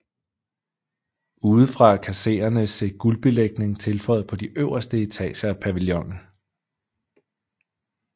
Udefra kan seerne se guldbelægning tilføjet på de øverste etager af pavillonen